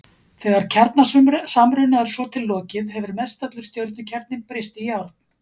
Þegar kjarnasamruna er svo til lokið hefur mestallur stjörnukjarninn breyst í járn.